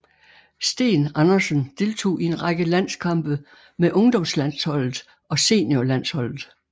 Steen Andersen deltog i en række landskampe med ungdomslandsholdet og seniorlandsholdet